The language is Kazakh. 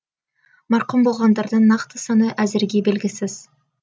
марқұм болғандардың нақты саны әзірге белгісіз